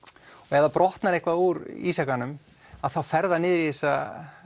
ef það brotnar eitthvað úr ísjakanum þá fer það niður í þessa